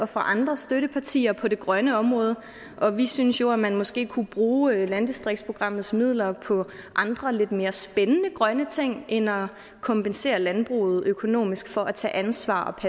fra andre støttepartier på det grønne område og vi synes jo at man måske kunne bruge landdistriktsprogrammets midler på andre og lidt mere spændende grønne ting end at kompensere landbruget økonomisk for at tage ansvar